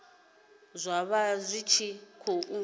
zwa vha zwi tshi khou